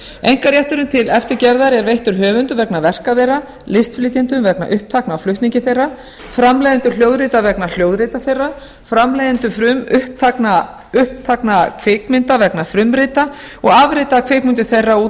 einkarétturinn til eftirgerðar er veittur höfundum vegna verka þeirra listflytjendum vegna upptakna á flutningi þeirra framleiðendum hljóðrita vegna hljóðrita þeirra framleiðendum frumupptakna kvikmynda vegna frumrita og